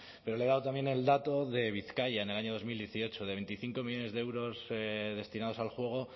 pero le he dado también el dato de bizkaia en el año dos mil dieciocho de veinticinco millónes de euros destinados al juego